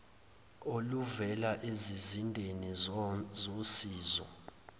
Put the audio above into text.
oluvela ezizindeni zosizo